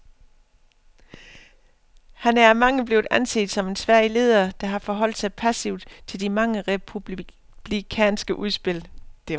Han er af mange blevet anset som en svag leder, der har forholdt sig passivt til de mange republikanske udspil.